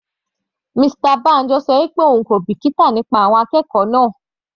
Mr Banjo ṣọ pé òun kò bìkítà nípa àwọn akẹ́kọ̀ọ́ náà.